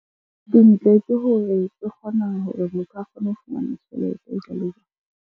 Dintle ke hore e kgona hore motho a kgone ho fumana tjhelete .